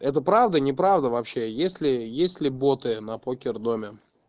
это правда неправда вообще если есть ли боты на покердоме